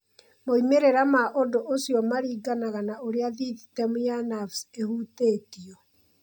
Moimĩrĩra ma ũndũ ũcio maringanaga na ũrĩa thithitemu ya nerves ĩhutĩtio.